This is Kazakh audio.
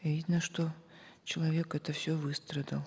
видно что человек это все выстрадал